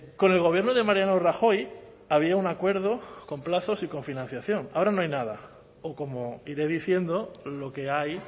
con el gobierno de mariano rajoy había un acuerdo con plazos y con financiación ahora no hay nada o como iré diciendo lo que hay